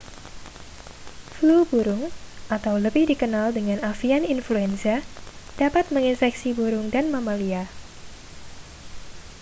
flu burung atau lebih dikenal dengan avian influenza dapat menginfeksi burung dan mamalia